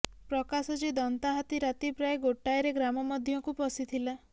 ପ୍ର୍ରକାଶ ଯେ ଦନ୍ତା ହାତୀ ରାତି ପ୍ରାୟ ଗୋଟାଏରେ ଗ୍ରାମ ମଧ୍ୟକୁ ପଶିଥିଲା